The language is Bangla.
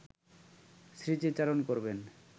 স্মৃতিচারণ করবেন